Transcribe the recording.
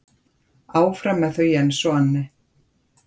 En áfram með þau Jens og Anne.